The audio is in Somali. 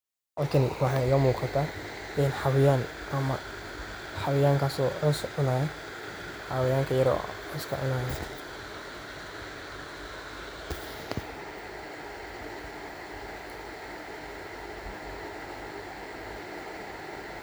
Meshan waxan iga muqdah xawayan amah xawayangaso coos cunayo xawayanga yaryar waye.